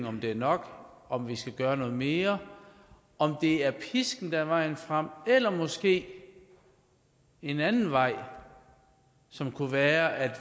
om det er nok om vi skal gøre noget mere om det er pisken der er vejen frem eller måske en anden vej som kunne være at